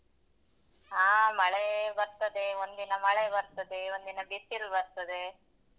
ಹಾ ಮಳೆ ಬರ್ತದೆ ಒಂದಿನ ಮಳೆ ಬರ್ತದೆ, ಒಂದಿನ ಬಿಸಿಲು ಬರ್ತದೆ.